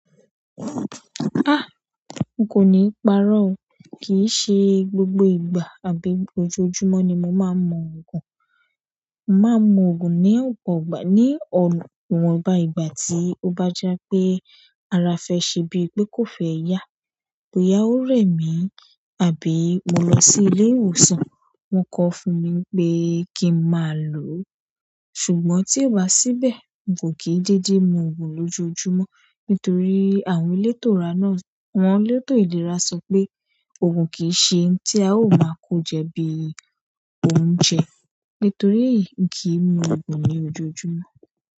Ah! N kò ní parọ́ o, kìí ṣe gbogbo ìgbà àbí lójoojúmọ́ ni mo máa ń mu ògùn. Màá mu ògùn ní ọ̀pọ̀ ìgbà, ní ọ̀wọ́n bá ìgbà tí ó bá jọ pé ara fẹ ṣe bíi pé kò fẹ́ yá, tò yá ó rẹ̀ mí, àbí mo lọ sí ilé ìwòsàn, wọ́n kọ fún mi pé kí máa lò ó. Ṣùgbọ́n tí o bá síbẹ̀, n o kí dédé mu ògùn lójoojúmọ́, nítorí àwọn elétò ìlera náà, àwọn elétò ìlera sọ pé, ògùn kì í ṣe ohun tí a ó máa kó jẹ bí i oúnjẹ. Nítorí eyì, n kì í mu ògùn ní ojoojúmọ́.